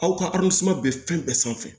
Aw ka bɛ fɛn bɛɛ sanfɛ